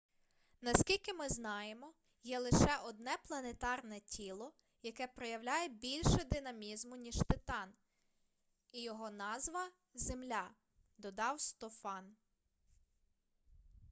наскільки ми знаємо є лише одне планетарне тіло яке проявляє більше динамізму ніж титан і його назва земля - додав стофан